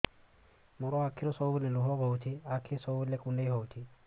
ମୋର ଆଖିରୁ ସବୁବେଳେ ଲୁହ ବୋହୁଛି ଆଖି ସବୁବେଳେ କୁଣ୍ଡେଇ ହଉଚି